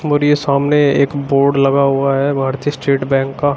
और ये सामने एक बोर्ड लगा हुआ है भारतीय स्टेट बैंक का।